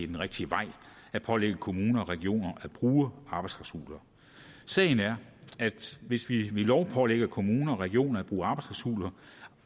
den rigtige vej at pålægge kommuner og regioner at bruge arbejdsklausuler sagen er at hvis vi ved lov pålægger kommuner og regioner at bruge